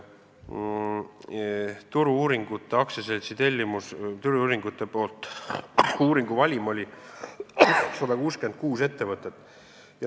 Turu-uuringute AS koostas uuringuvalimi, kus oli 166 ettevõtet.